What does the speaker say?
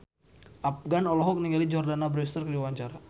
Afgan olohok ningali Jordana Brewster keur diwawancara